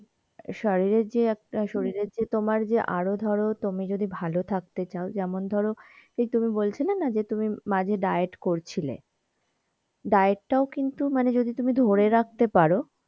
শারীরের যে একটা শরীরের যে তোমার যে আরো ধরো তুমি যদি ভালো থাকতে চাও যেমন ধরো সেই তুমি বলছিলে না যে তুমি মাঝে diet করছিলে diet তাও তুমি যদি ধরে রাখতে পারো,